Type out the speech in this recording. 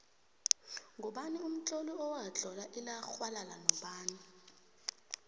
ngubani umtloli owatlola ilaxhwalala nobani